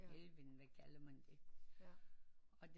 Elving eller hvad kalder man det og det